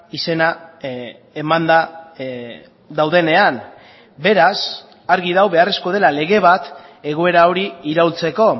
izena emanda daudenean beraz argi dago beharrezkoa dela lege bat egoera hori iraultzeko